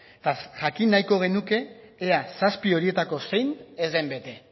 eta jakin nahiko genuke ea zazpi horietako zein ez den bete